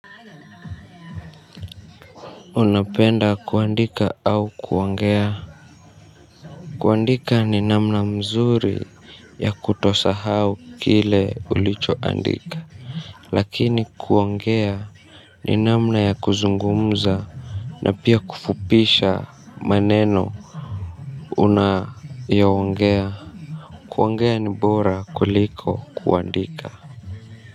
Unapenda kuandika au kuongea. Kuandika ni namna mzuri ya kutosahau kile ulichoandika. Lakini kuongea ni namna ya kuzungumza. Na pia kufupisha maneno unayo ongea kuongea ni bora kuliko kuandika.